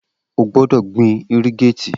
O gbọdọ gbin irrigate!